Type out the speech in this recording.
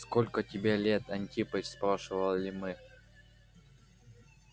сколько тебе лет антипыч спрашивали мы